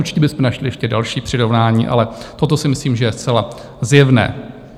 Určitě bychom našli ještě další přirovnání, ale toto si myslím, že je zcela zjevné.